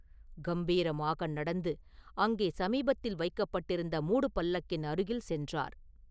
கம்பீரமாக நடந்து அங்கே சமீபத்தில் வைக்கப்பட்டிருந்த மூடு பல்லக்கின் அருகில் சென்றார்.